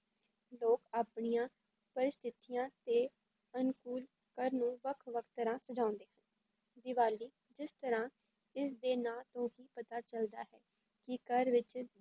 ਲੋਕ ਆਪਣੀਆਂ ਪਰਿਸਥਿਤੀਆਂ ਦੇ ਅਨੁਕੂਲ ਘਰ ਨੂੰ ਵੱਖ ਵੱਖ ਤਰ੍ਹਾਂ ਸਜਾਉਂਦੇ ਹਨ, ਦੀਵਾਲੀ ਜਿਸ ਤਰ੍ਹਾਂ ਇਸਦੇ ਨਾਂ ਤੋਂ ਹੀ ਪਤਾ ਚੱਲਦਾ ਹੈ ਕਿ ਘਰ ਵਿੱਚ